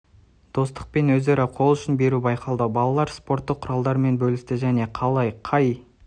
достық пен өзара қол ұшын беру байқалды балалар спорттық құралдармен бөлісті және қалай және қай